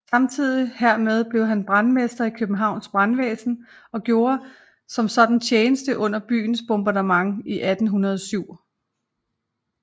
Samtidig hermed blev han brandmester i Københavns Brandvæsen og gjorde som sådan tjeneste under byens bombardement i 1807